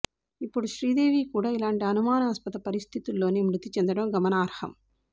ఇప్పుడు శ్రీదేవి కూడా ఇలాంటి అనుమానాస్పద పరిస్థితుల్లోనే మృతి చెందడం గమనార్హం